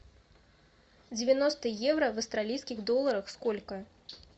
девяносто евро в австралийских долларах сколько